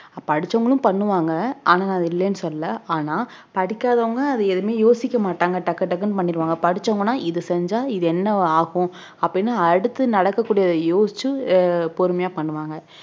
படிச்சவங்களும் பண்ணுவாங்க ஆனா அத இல்லைன்னு சொல்லல ஆனா படிக்காதவங்க அது எதுவுமே யோசிக்க மாட்டாங்க டக்கு டக்குனு பண்ணிடுவாங்க படிச்சவங்கன்னா இது செஞ்சா இது என்ன ஆகும் அப்படின்னு அடுத்து நடக்கக் கூடியதை யோசிச்சு அஹ் பொறுமையா பண்ணுவாங்க